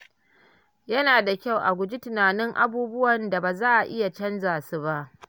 Yana da kyau a guji tunanin abubuwan da ba za a iya canza su ba.